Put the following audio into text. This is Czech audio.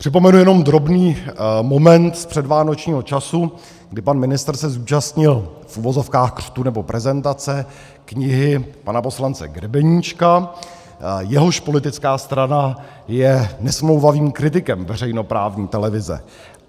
Připomenu jenom drobný moment z předvánočního času, kdy pan ministr se zúčastnil, v uvozovkách, křtu nebo prezentace knihy pana poslance Grebeníčka, jehož politická strana je nesmlouvavým kritikem veřejnoprávní televize.